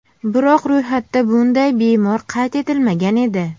Biroq ro‘yxatda bunday bemor qayd etilmagan edi.